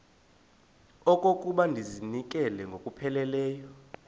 okokuba ndizinikele ngokupheleleyo